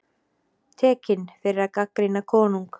Tekinn fyrir að gagnrýna konung